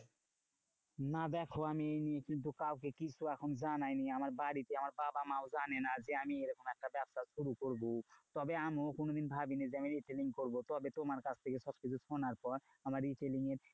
না দেখো আমি এই কিন্তু কাউকে কিছু এখন জানাইনি, আমার বাড়িতে আমার বাবা মাও জানেনা যে, আমি এরকম একটা ব্যাবসা শুরু করবো? তবে আমিও কোনোদিন ভাবিনি যে, আমি retailing করবো? তবে তোমার কাছ থেকে সবকিছু সোনার পর আমার ratailing এর